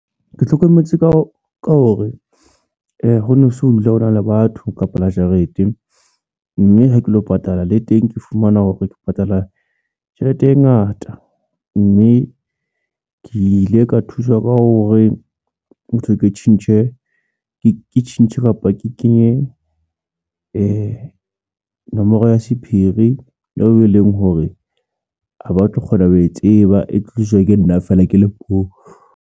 Ke hlokometse ka hore hono so bile o na le batho kapa la jarete, mme ha ke lo patala le teng, ke fumana hore ke patala tjhelete e ngata, mme ke ile ka thuswa ka hore hothwe ke tjhentjhe, ke tjhentjhe kapa ke kenye nomoro ya sephiri eo e leng hore, ha ba tlo kgona ho e tseba e tlo tsejwa ke nna feela ke le mong.